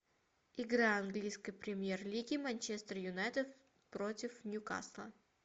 игра английской премьер лиги манчестер юнайтед против ньюкасла